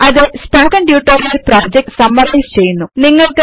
അത് spoken tutorial project summarise ചെയ്യുന്നു